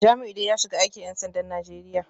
Jamiu dai ya shiga aikin ‘yan sandan Najeriya